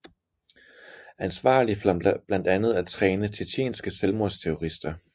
Ansvarlig for blandt andet at træne tjetjenske selvmordsterrorister